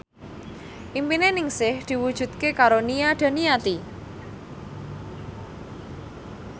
impine Ningsih diwujudke karo Nia Daniati